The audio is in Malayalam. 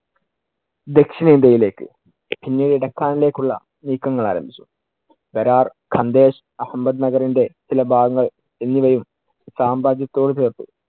ദക്ഷിണേന്ത്യയിലേക്ക്, പിന്നീട് ഡക്കാനിലേക്കുള്ള നീക്കങ്ങൾ ആരംഭിച്ചു. അഹമ്മദ് നഗറിന്‍റെ ചില ഭാഗങ്ങൾ എന്നിവയും സാമ്രാജ്യത്തോട് ചേർത്തു.